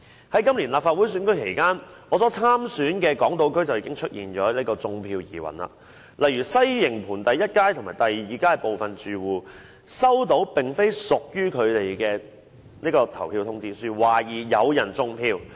在今年立法會選舉期間，我所參選的港島區出現"種票"疑雲，例如西營盤第一街和第二街的部分住戶接獲並非屬於他們的投票通知書，懷疑有人"種票"。